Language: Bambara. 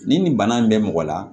Ni nin bana in bɛ mɔgɔ la